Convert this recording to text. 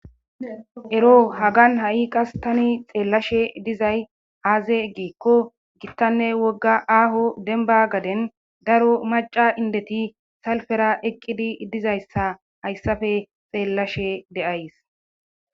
ero hagan ha7i qas tani xeellashe dizay aaze giikko gittanne wogga aaho denba gaden daro maca indeti salfera ekqidi dizayssa hayssafe xeellashe de7ays